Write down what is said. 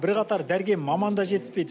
бірқатар дәрігер маман да жетіспейді